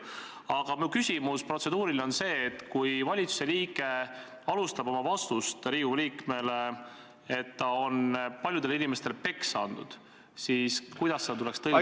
Aga minu protseduuriline küsimus on see, et kui valitsuse liige alustab oma vastust Riigikogu liikmele nii, et ta on paljudele inimestele peksa andnud, siis kuidas seda tuleks tõlgendada.